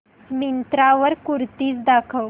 मिंत्रा वर कुर्तीझ दाखव